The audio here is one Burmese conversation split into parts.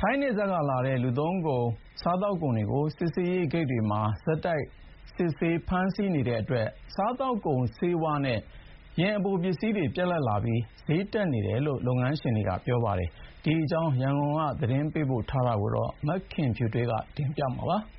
ထိုင်းနယ်စပ်ကလာတဲ့ လူသုံးကုန်၊ စားသောက်ကုန်တွေကို စစ်ဆေးရေးဂိတ်တွေမှာ ဆက်တိုက် စစ်ဆေး၊ ဖမ်းဆီးနေတဲ့အတွက် စားသောက်ကုန်၊ ဆေးဝါးနဲ့ယာဉ်အပိုပစ္စည်းတွေပြတ်လပ်ပြီး စျေးတက်နေတယ်လို့ လုပ်ငန်းရှင်တွေက ပြောပါတယ်။ ဒီအကြောင်း ရန်ကုန်က သတင်းပေးပို့ထားတာကို မခင်ဖြူထွေးက တင်ပြပေးထားပါတယ်။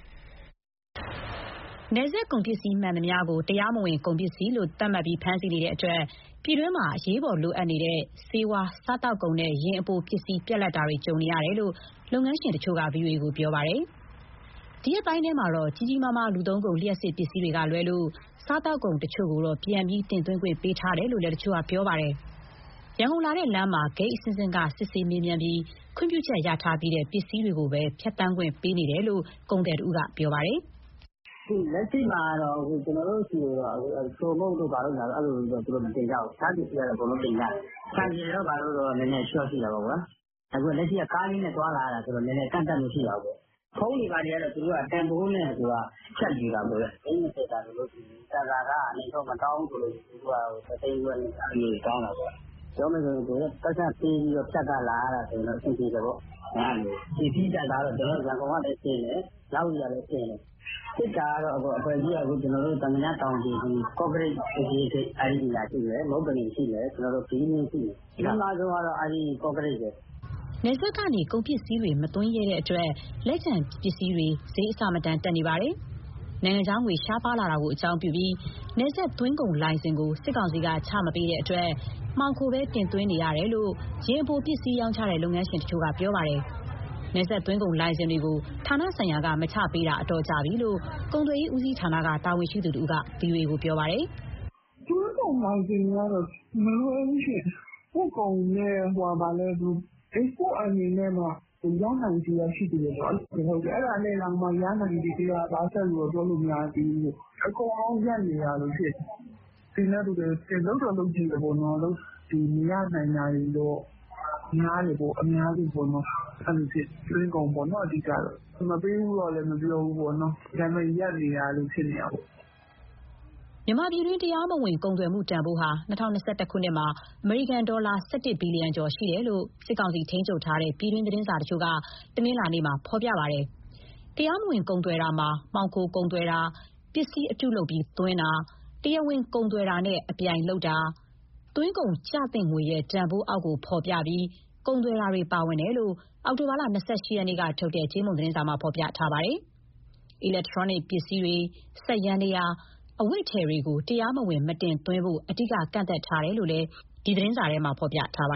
နယ်စပ်ကုန်ပစ္စည်းမှန်သမျှကို တရားမဝင်ကုန်ပစ္စည်းလို့သတ်မှတ်ပြီး ဖမ်းဆီးနေတဲ့အတွက် ပြည်တွင်း မှာ အရေးပေါ်လိုအပ်နေတဲ့ ဆေးဝါး၊ စားသောက်ကုန်နဲ့ ယာဉ်အပိုပစ္စည်းပြတ်လပ်မှုတွေ ကြုံနေရတယ်လို့ လုပ်ငန်းရှင်တချို့က ဗွီအိုအေကို ပြောပါတယ်။ ဒီရက်ပိုင်းထဲမှာတော့ ကြီးကြီးမားမား လူသုံးကုန်နဲ့ လျှပ်စစ်ပစ္စည်းတွေကလွဲလို့ စားသောက်ကုန်တချို့ကိုတော့ ပြန်ပြီး တင်သွင်းခွင့် ပေးထားတယ်လို့လည်း တချို့က ပြောပါတယ်။ ရန်ကုန်လာတဲ့လမ်းမှာ ဂိတ်အဆင့်ဆင့်က စစ်ဆေးမေးမြန်းပြီး ခွင့်ပြုချက်ရထားပြီးတဲ့ပစ္စည်းတွေကိုပဲ ဖြတ်သန်းခွင့်ပေးကြောင်း ကုန်သည်တဦးက ပြောပါတယ်။ "လက်ရှိမှာ အချိုမှုန့်တို့ဘာတို့ မတင်ကြဘူး။ တခြားပစ္စည်းက အကုန်လုံးတင်ကြတယ်။ ဆိုင်ကယ်တို့ ဘာတို့တော့ နည်းနည်း ရှော့ရှိတာပေါ့။ လက်ရှိက ကားလေးနဲ့သွားလာရတာဆိုတော့ ကန့်သတ်မှုတော့ ရှိတာပေါ့။ ဖုန်းတွေဘာတွေက သူက တန်ဖိုးနဲ့ဖြတ်ယူတာပေါ့။ သိန်း ၂၀ တန်ဆိုရင် တန်ဆာခက အနိမ့်ဆုံး မတောင်းဘူးဆိုရင် တသိန်းခွဲ၊ အဲလိုမျိုးတွေတောင်းတာ။ ပြောရမယ်ဆိုရင် ပိုက်ဆံပေးပြီး ဖြတ်ရ လာရတာဆိုရင် အဆင်ပြေတယ်ပေါ့။ ပစ္စည်းတန်ဆာကတော့ ရန်ကုန်ကလည်းတင်တယ်၊ မြဝတီကလည်း တင်တယ်။ စစ်တာကတော့ အဖွဲ့အစည်းက သာမညတောင်ခြေဆိုရင် ကော့ကရိတ် စစ်ဆေးရေးဂိတ်ရှိမယ်၊ မုပ္ပလင်ရှိမယ်၊ ဘီးလင်းရှိမယ်။ အကြီးမားဆုံးကတော့ အဲဒီ ကော့ကရိတ်ပဲ။" နယ်စပ်ကနေ ကုန်ပစ္စည်းတွေမသွင်းရဲတဲ့အတွက် လက်ကျန်ပစ္စည်းတွေ စျေးအဆမတန် တက်နေပါတယ်။ နိုင်ငံခြားငွေရှားပါးလာတာကို အကြောင်းပြုပြီး နယ်စပ်သွင်းကုန်လိုင်စင်ကို စစ်ကောင်စီက ချမပေးတဲ့အတွက် မှောင်ခိုပဲတင်သွင်းနေရကြောင်း ယာဉ်အပိုပစ္စည်းရောင်းချတဲ့ လုပ်ငန်းရှင်တချို့က ပြောပါတယ်။ နယ်စပ်သွင်းကုန်လိုင်စင်တွေကို ဌာနဆိုင်ရာက မချပေးတာ အတော်ကြာပြီလို့ ကုန်သွယ်ရေးဦးစီးဌာနက တာဝန်ရှိသူတဦးက ဗွီအိုအေကို ပြောပါတယ်။ "သွင်းကုန်လိုင်စင်က မလွယ်ဘူးရှင့်။ ပို့ကုန်နဲ့ အိတ်စပို့ earning နဲ့မှ ရနိုင်ခြေက ရှိသေးတယ်ပေါ့။ အဲဒါတောင် ရနိုင်ခြေက ၁၀၀ လို့ ပြောလို့မရသေးဘူး။ အကုန်လုံးရပ်နေတာလို ဖြစ်နေတာ။ တင်တဲ့သူတွေလည်း လုပ်တော့လုပ်ကြည့်တယ်ပေါ့။ မရနိုင်တာတွေတော့ များတယ်ပေါ့၊ အများစုပေါ့။ သွင်းကုန်ပေါ့ အဓိကတော့။ မပေးဘူးလို့လည်း မပြောဘူးပေါ့။ ဒါပေမဲ့ ရပ်နေတာလို ဖြစ်နေတာပေါ့။" မြန်မာပြည်တွင်း တရားမဝင်ကုန်သွယ်မှုတန်ဖိုးဟာ ၂၀၂၁ ခုနှစ်မှာ အမေရိကန်ဒေါ်လာ ၁၁ ဘီလီယံ ကျော်ရှိတယ်လို့ စစ်ကောင်စီထိန်းချုပ်ထားတဲ့ ပြည်တွင်းသတင်းစာတချို့က တနင်္လာနေ့မှာ ဖော်ပြ ထားပါတယ်။ တရားမဝင်ကုန်သွယ်တာမှာ မှောင်ခိုကုန်သွယ်တာ၊ ပစ္စည်းအတုလုပ်ပြီးသွင်းတာ၊ တရားဝင်ကုန်သွယ်ရေးနဲ့ အပြိုင်လုပ်တာ၊ သွင်းကုန်ကျသင့်ငွေရဲ့ တန်ဖိုးအောက်ကို ဖော်ပြပြီး ကုန်သွယ်တာတွေပါဝင်တယ်လို့ အောက်တိုဘာလ ၂၈ ရက်ကထုတ်တဲ့ ကြေးမုံသတင်းစာမှာ ဖော်ပြထားပါတယ်။ အီလက်ထရောနစ် ပစ္စည်း၊ စက်ယန္တရား၊ အဝတ်အထည်တွေကို တရားမဝင် မတင်သွင်းဖို့ အဓိက ကန့်သတ်ထားတယ်လို့လည်း ဒီသတင်းစာမှာ ဖော်ပြထားပါ